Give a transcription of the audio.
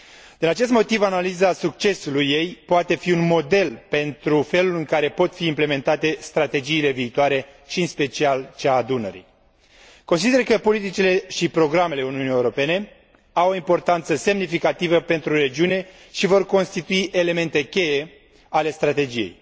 Din acest motiv, analiza succesului ei poate fi un model pentru felul în care pot fi implementate strategiile viitoare și, în special, cea a Dunării. Consider că politicile și programele Uniunii Europene au o importanță semnificativă pentru regiune și vor constitui elemente cheie ale strategiei.